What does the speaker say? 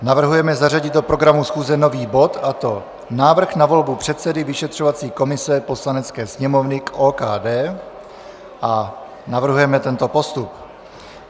Navrhujeme zařadit do programu schůze nový bod, a to Návrh na volbu předsedy vyšetřovací komise Poslanecké sněmovny k OKD, a navrhujeme tento postup.